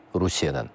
Rusiyadan.